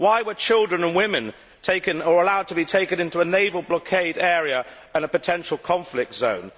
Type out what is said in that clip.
Why were children and women allowed to be taken into a naval blockade area and a potential conflict zone?